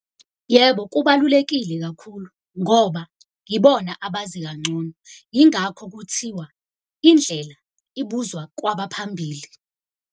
Yebo, kubalulekile kakhulu ngoba yibona abazi kangcono. Yingakho kuthiwa indlela ibuzwa kwabaphambili.